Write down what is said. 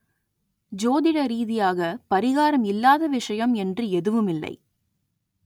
ஜோதிட ரீதியாக பரிகாரம் இல்லாத விஷயம் என்று எதுவுமில்லை